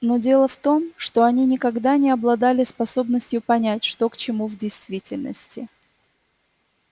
но дело в том что они никогда не обладали способностью понять что к чему в действительности